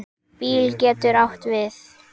BÍL getur átt við